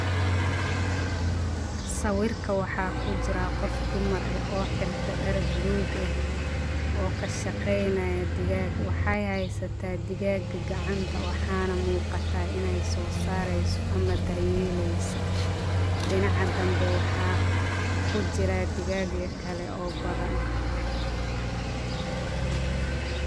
Sawirka waxaa ku jira qof dumar ee oo xirta dhar blue gah oo ka shaqaynaya digaga. Waxay haysta digaga gacanta waxaana muuqata in ay soo saarayso ama daryeelayso. dinacadambay waxaa ku jira digagii kale oo badan.